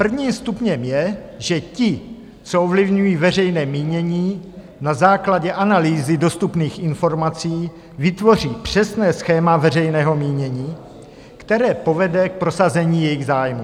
Prvním stupněm je, že ti, co ovlivňují veřejné mínění na základě analýzy dostupných informací, vytvoří přesné schéma veřejného mínění, které povede k prosazení jejich zájmů.